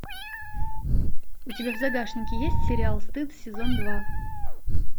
у тебя в загашнике есть сериал стыд сезон два